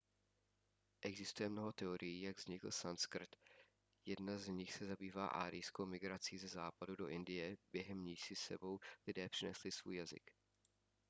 existuje mnoho teorií jak vznikl sanskrt jedna z nich se zabývá árijskou migrací ze západu do indie během níž si s sebou lidé přinesli svůj jazyk